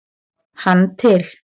hann til.